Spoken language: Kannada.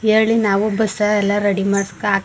ಏಳಿ ನಾವು ಬಸ್ ಎಲ್ಲಾ ರೆಡಿ ಮಾಡ್ಸಿ ಹಾಕ್ಸ --